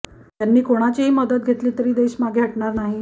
यांनी कोणाचीही मदत घेतली तरी देश मागे हटणार नाही